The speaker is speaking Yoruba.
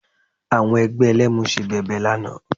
Àwọn ẹgbẹ́ Ẹlẹ́mu ṣe bẹbẹ lánàá